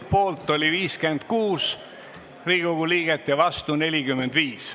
Poolt oli 56 Riigikogu liiget ja vastu 45.